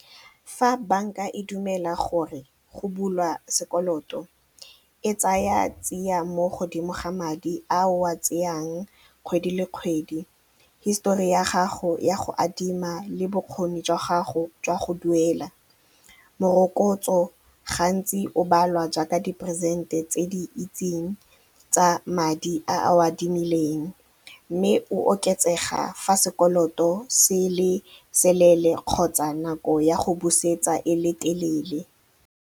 Fa bank-a e dumela gore go bulwa sekoloto, e tsaya tsia mo godimo ga madi a o a tseyang kgwedi le kgwedi, hisetori ya gago ya go adima le bokgoni jwa gago jwa go duela, morokotso gantsi o balwa jaaka diperesente tse di itseng tsa madi a o a adimileng mme o oketsega fa sekoloto se le seleele kgotsa nako ya go busetsa e le telele.